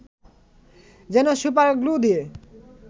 যেন super glue দিয়ে